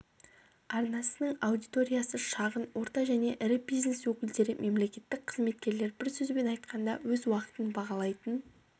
арнасының аудиториясы шағын орта және ірі бизнес өкілдері мемлекеттік қызметкерлер бір сөзбен айтқанда өз уақытын бағалайтын